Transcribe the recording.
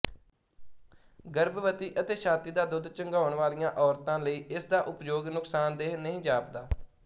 ਗਰਭਵਤੀ ਅਤੇ ਛਾਤੀ ਦਾ ਦੁੱਧ ਚੁੰਘਾਉਣ ਵਾਲੀਆਂ ਔਰਤਾਂ ਲਈਇਸਦਾ ਉਪਯੋਗ ਨੁਕਸਾਨਦੇਹ ਨਹੀਂ ਜਾਪਦਾ